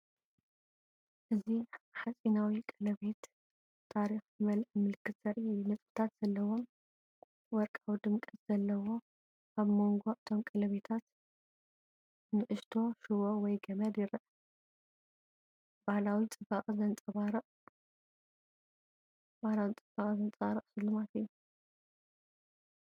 እዚ ሓጺናዊ ቀለቤት፡ ታሪኽ ዝመልአ ምልክትዘርኢ እዩ። ነጥብታት ዘለዎን ወርቃዊ ድምቀትን ዘለዎ። ኣብ መንጎ እቶም ቀለቤታት ንእሽቶ ሽቦ ወይ ገመድ ይርአ። ባህላዊ ጽባቐ ዘንጸባርቕ ስልማት እዩ።